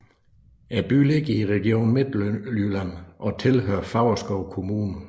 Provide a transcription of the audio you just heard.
Byen ligger i Region Midtjylland og tilhører Favrskov Kommune